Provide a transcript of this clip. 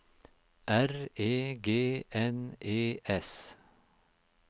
R E G N E S